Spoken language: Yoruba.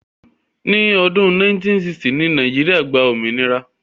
Ní ọdún 1960 ni Nàìjíríà gba òmìnira.